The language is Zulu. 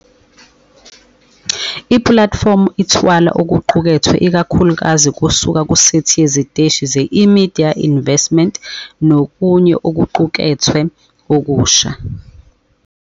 Ipulatifomu ithwala okuqukethwe ikakhulukazi kusuka kusethi yeziteshi ze-eMedia Investments nokunye okuqukethwe okusha.